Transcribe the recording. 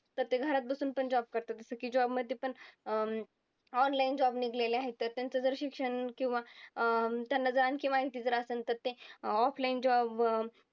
तर ते घरात बसून पण job करतात. जसं की job मध्ये पण अं online job निघलेले आहेत तर त्यांचं जर शिक्षण किंवा अं त्यांना जर आणखी माहिती असंन तर ते offline job